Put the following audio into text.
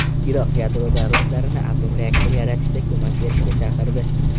Iroq yadro davlatlarini atom reaktori yaratishda ko‘mak berishga chaqirdi.